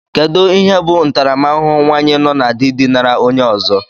Kedụ ihe bụ ntaramahụhụ nwaanyi nọ na dị dinara onye ọzọ?